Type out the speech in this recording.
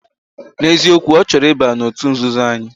Na eziokwu, ochoro iba otut nzuzo anyi.